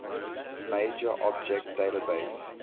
major object database